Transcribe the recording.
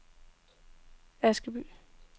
Askeby